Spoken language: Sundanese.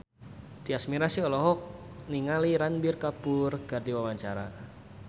Tyas Mirasih olohok ningali Ranbir Kapoor keur diwawancara